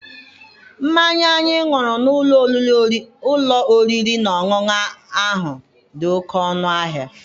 Mmanya anyị ṅụrụ n'ụlọ oriri na ọṅụṅụ ahụ dị oke ọnụ ahịa.